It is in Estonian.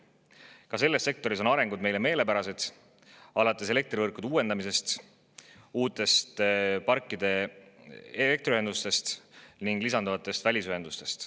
Ka selles sektoris on arengud meile meelepärased, alates elektrivõrkude uuendamisest, uutest parkide elektriühendustest ning lisanduvatest välisühendustest.